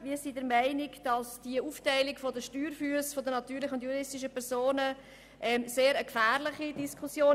Unseres Erachtens ist diese Aufteilung der Steuerfüsse von natürlichen und juristischen Personen eine sehr gefährliche Diskussion.